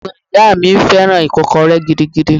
Ẹ̀gbọ́n ìyá mi fẹ́ràn Ìkọ́kọrẹ́ gidigidi.